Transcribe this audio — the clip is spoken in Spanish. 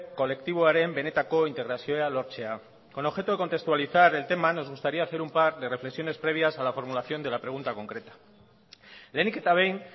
kolektiboaren benetako integrazioa lortzea con objeto de contextualizar el tema nos gustaría hacer un par de reflexiones previas a la formulación de la pregunta concreta lehenik eta behin